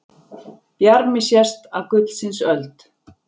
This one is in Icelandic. Bjarmi sést af gullsins öld.